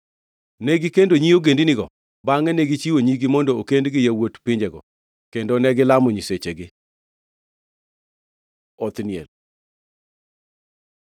Negikendo nyi ogendinigo bangʼe negichiwo nyigi mondo okend gi yawuot pinjego kendo negilamo nyisechegi. Othniel